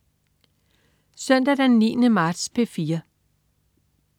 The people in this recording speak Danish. Søndag den 9. marts - P4: